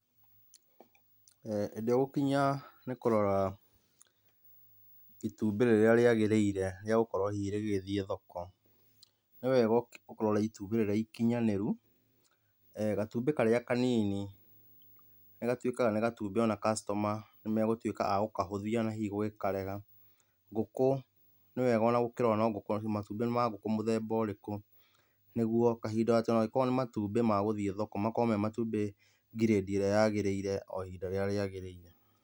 Hĩndĩ igũkinya nĩ kũrora itumbĩ rĩrĩa rĩagĩrĩire rĩagũkorwo rĩgĩthiĩ thoko, nĩ wega ũrore itumbĩ rĩrĩa ikinyanĩru. Gatumbĩ karĩa kanini nĩgatuĩkaga nĩ gatumbĩ ona kastoma megũtuĩka agũkahũthia na hihi gũkarega. Ngũkũ nĩ wega ona gũkirora ona matumbĩ nĩ ma ngũkũ mũthemba ũrĩkũ nĩguo kahinda ona angĩkorwo nĩ matumbi ma gũthiĩ thoko makorwo me matumbĩ ngiredi ĩrĩa yagĩrĩire o ihinda rĩrĩa rĩagĩrĩire.